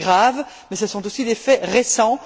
C'est grave, mais ce sont aussi des faits récents.